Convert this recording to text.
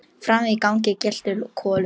Frammi í gangi geltir Kolur.